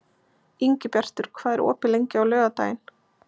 Ingibjartur, hvað er opið lengi á laugardaginn?